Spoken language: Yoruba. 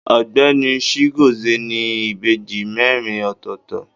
Ọgbẹni Chigozie ni ìbejì merin ọ̀tọ̀ọ̀tọ̀.